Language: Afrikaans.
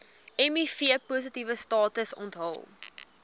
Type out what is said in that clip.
mivpositiewe status onthul